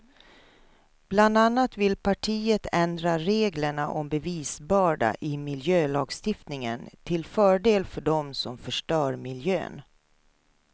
Bland annat vill partiet ändra reglerna om bevisbörda i miljölagstiftningen till fördel för dem som förstör miljön.